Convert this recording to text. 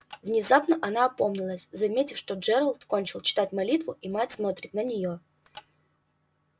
внезапно она опомнилась заметив что джералд кончил читать молитву и мать смотрит на неё